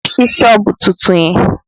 Lọ ṣí sọ́ọ̀bù tuntun yẹn!